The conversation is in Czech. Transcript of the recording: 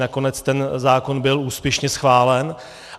Nakonec ten zákon byl úspěšně schválen.